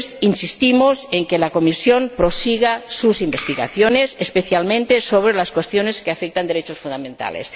Insistimos en que la Comisión prosiga sus investigaciones, especialmente sobre las cuestiones que afectan a los derechos fundamentales.